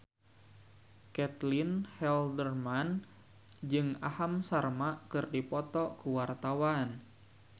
Caitlin Halderman jeung Aham Sharma keur dipoto ku wartawan